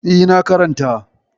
E, na karanta.